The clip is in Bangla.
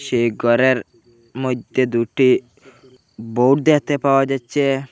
সেই ঘরের মইধ্যে দুটি বোর্ড দেখতে পাওয়া যাচ্ছে।